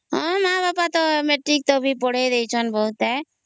ମା ବାପ ତଵ ମେଟ୍ରିକ ତକ ପଢ଼େଇ ଦେଇଛନ ବହୁତ ହୈ